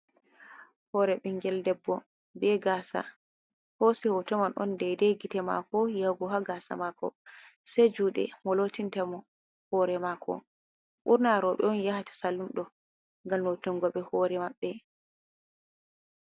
Hoore binngel debbo bee gaasa, ɓe hoosi hooto man on deedey gite maako yaago haa gaasa maako sey juuɗe mo lootinta mo hoore maako. Ɓurna roobe on yaha ta sallun ɗo ngam lotinngoɓe hoore maɓɓe.